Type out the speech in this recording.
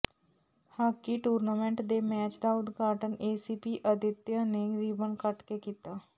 hockey tournament ਦੇ match ਦਾ ਉਦਘਾਟਨ ਏਸੀਪੀ ਆਦਿੱਤਿਆ ਨੇ ਰੀਬਨ ਕੱਟ ਕੇ ਕੀਤਾ